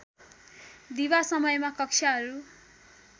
दिवा समयमा कक्षाहरू